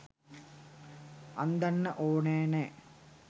අන්දන්න ඕනේ නෑ.